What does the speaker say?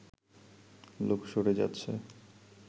লোক সরে যাচ্ছে